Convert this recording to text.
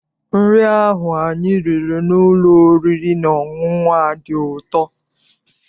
Nri ahụ anyị riri n'ụlọ oriri na ọṅụṅụ a dị ụtọ.